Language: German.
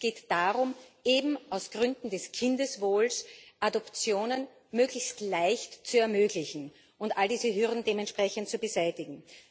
Es geht darum, eben aus Gründen des Kindeswohls Adoptionen möglichst leicht zu ermöglichen und all diese Hürden dementsprechend zu beseitigen.